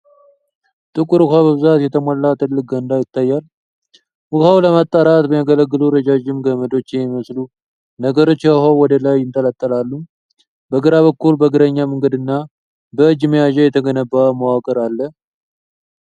ጥቁር ውሀ በብዛት የተሞላ ትልቅ ገንዳ ይታያል። ውኃውን ለማጣራት የሚያገለግሉ ረዣዥም ገመዶች የሚመስሉ ነገሮች ከውኃው ወደ ላይ ይንጠለጠላሉ። በግራ በኩል በእግረኛ መንገድ እና በእጅ መያዣ የተገነባ መዋቅር አለ።